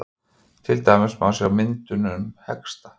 til dæmis má sjá á myndunum hesta